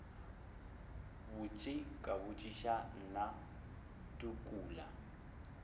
botši ka botšiša mna tukula